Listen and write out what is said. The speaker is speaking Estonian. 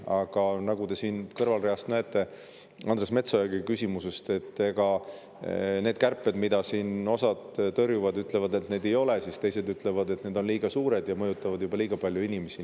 Aga nagu te olete kuulnud siit kõrvalreast ja ka Andres Metsoja küsimusest, siis osad tõrjuvad ja ütlevad, et kärpeid ei ole, aga teised ütlevad, et need on liiga suured ja mõjutavad juba liiga paljusid inimesi.